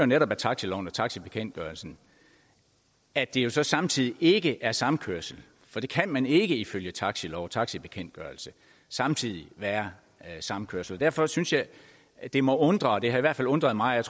netop af taxiloven og taxibekendtgørelsen at det jo så samtidig ikke er samkørsel for det kan ikke ifølge taxilov og taxibekendtgørelse samtidig være samkørsel derfor synes jeg at det må undre det har i hvert fald undret mig